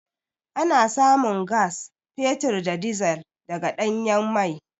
Ana samun gas, fetur da dizil daga ɗanyen mai.